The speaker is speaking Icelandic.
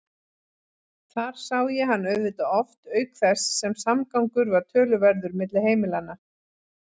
Þar sá ég hann auðvitað oft auk þess sem samgangur var töluverður milli heimilanna.